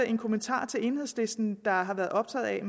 en kommentar til enhedslisten der har været optaget af